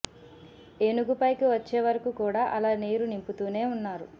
ఏనుగు పైకి వచ్చే వరకు కూడా అలా నీరు నింపుతూనే ఉన్నారు